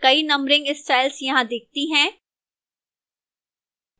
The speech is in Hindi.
कई numbering styles यहां दिखती हैं